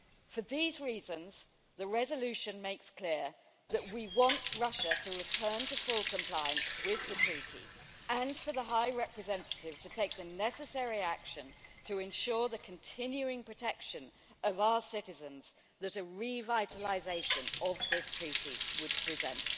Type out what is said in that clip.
For these reasons, the resolution makes clear that we want Russia to return to full compliance with the INF Treaty and for the High Representative to take the necessary action to ensure the continuing protection of our citizens that a revitalisation of this treaty would present.